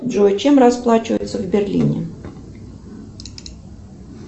джой чем расплачиваются в берлине